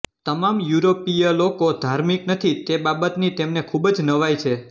તમામ યુરોપીય લોકો ધાર્મિક નથી તે બાબતની તેમને ખૂબ જ નવાઈ છે